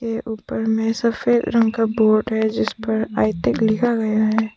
ये ऊपर में सफेद रंग का बोर्ड है जिस पर आई टेक लिखा गया है।